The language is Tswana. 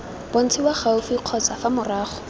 bontshiwa gaufi kgotsa fa morago